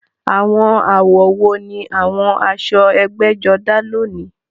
Àwọn àwọ̀ wo ni àwọn aṣọ ẹgbẹ́jọdá lónìí?